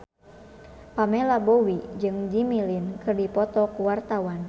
Pamela Bowie jeung Jimmy Lin keur dipoto ku wartawan